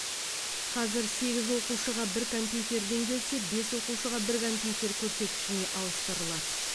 қазір сегіз оқушыға бір компьютерден келсе бес оқушыға бір компьютер көрсеткішіне ауыстырылады